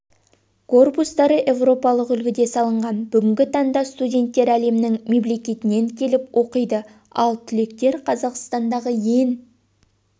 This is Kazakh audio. корпустары еуропалық үлгіде салынған бүгінгі таңда студенттер әлемнің мемлекетінен келіп оқиды ал түлектер қазақстандағы ең